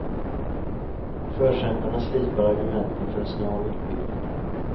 Och förkämparna slipar argumenten för en snar utbyggnad.